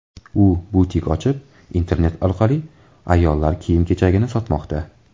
U butik ochib, internet orqali ayollar kiyim-kechagini sotmoqda.